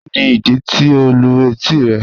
Kíni idí tí o lù etí rẹ̀?